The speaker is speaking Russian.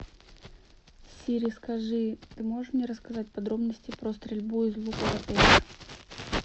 сири скажи ты можешь мне рассказать подробности про стрельбу из лука в отеле